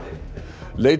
leit